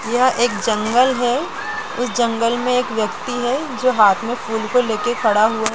यह एक जंगल है उस जंगल में एक व्यक्ति हैजो हाथ में फूल को लेकर खड़ा हुआ है।